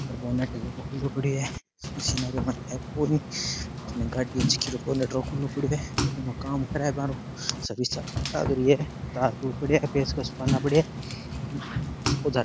bonnet है जो खुलो पड़े है पसीना के मारे पूरी गाड़ी के नटो खुले पड़े एमा काम करे सर्विस सेंटर लग रियो है तार तूर पडेया है पेचकस पाना पड्या है इसको --